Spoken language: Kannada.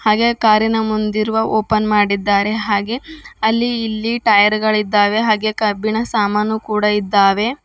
ಹಾಗೆ ಕಾರಿನ ಮಂದಿರುವ ಓಪನ್ ಮಾಡಿದ್ದಾರೆ ಹಾಗೆ ಅಲ್ಲಿ ಇಲ್ಲಿ ಟೈರ್ ಗಳಿದ್ದಾವೆ ಹಾಗೆ ಕಬ್ಬಿಣ ಸಾಮಾನು ಕೂಡ ಇದ್ದಾವೆ.